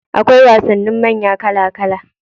Akwai wasannin manya kala kala.